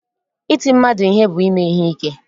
Iti mmadụ ihe bụ ime ihe ike